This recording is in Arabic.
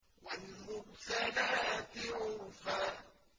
وَالْمُرْسَلَاتِ عُرْفًا